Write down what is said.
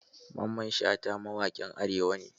Mamman Shata mawaƙin arewa ne.